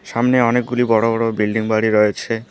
সামনে অনেকগুলি বড়ো বড়ো বিল্ডিং বাড়ি রয়েছে।